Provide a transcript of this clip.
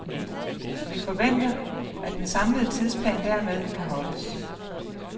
Vi forventer, at den samlede tidsplan dermed kan holdes.